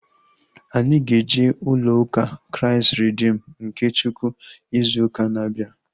Anyị ga-eje ulo ụka Kraịst Reedim nke Chukwu izu ụka na-abịa